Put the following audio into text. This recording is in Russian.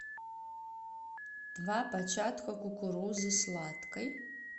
два початка кукурузы сладкой